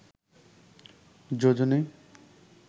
যোজনী